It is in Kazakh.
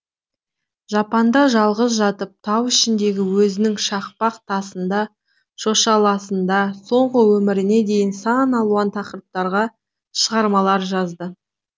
жапанда жалғыз жатып тау ішіндегі өзінің шақпақ тасында шошаласында соңғы өміріне дейін сан алуан тақырыптарға шығармалар жазды